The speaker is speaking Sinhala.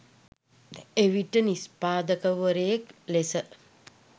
එවිට නිෂ්පාදකවරයෙක් ලෙස